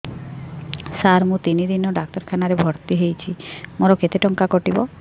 ସାର ମୁ ତିନି ଦିନ ଡାକ୍ତରଖାନା ରେ ଭର୍ତି ହେଇଛି ମୋର କେତେ ଟଙ୍କା କଟିବ